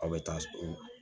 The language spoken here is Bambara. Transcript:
Aw bɛ taa